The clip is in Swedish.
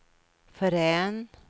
förrän